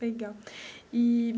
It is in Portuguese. Legal eee.